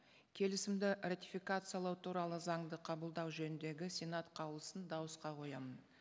келісімді ратификациялау туралы заңды қабылдау жөніндегі сенат қаулысын дауысқа қоямын